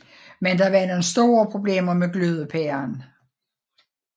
Men der var nogle store problemer med glødepæren